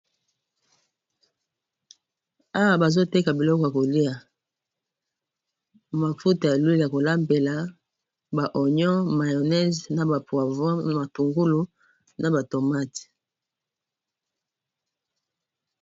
Awa bazoteka biloko ya kolia mafuta ya l'huile ya kolambela ba onion mayonnaise na ba poavon matungulu na ba tomate.